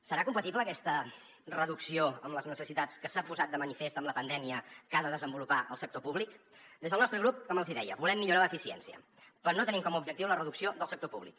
serà compatible aquesta reducció amb les necessitats que s’han posat de manifest amb la pandèmia que ha de desenvolupar el sector públic des del nostre grup com els hi deia volem millorar l’eficiència però no tenim com a objectiu la reducció del sector públic